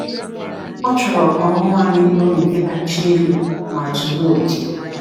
Ọ chọrọ ka ọṅụ anyị bụrụ nke kacha elu ma zuru oke.